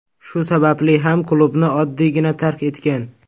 Shu sababli ham klubni oddiygina tark etgan.